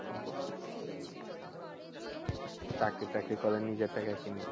চাকরি টাকরি করো নিজের টাকায় কিনবে।